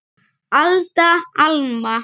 Alda, Alma.